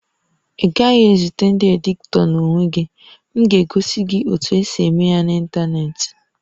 Ị gaghị ezute ndị editọ n'onwe gị, m ga-egosi gị otu esi eme ya n'ịntanetị